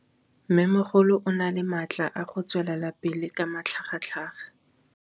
Mmêmogolo o na le matla a go tswelela pele ka matlhagatlhaga.